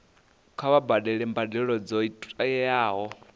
kha vha badele mbadelo dzo tiwaho